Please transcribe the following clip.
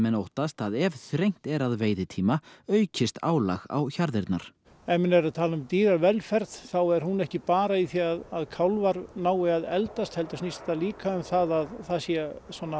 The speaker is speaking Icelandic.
óttast að ef þrengt er að veiðitíma aukist álag á hjarðirnar ef menn eru að tala um dýravelferð þá er hún ekki bara í því að kálfar nái að eldast heldur snýst það líka um það að það sé